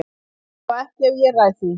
Allavega ekki ef ég ræð því.